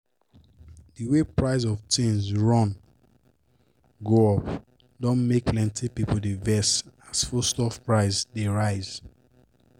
d way price of tins run go up don make plenty pipo dey vex as foodstuffs price dey rise.